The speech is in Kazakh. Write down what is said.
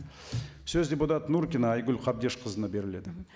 сөз депутат нұркина айгүл қабдешқызына беріледі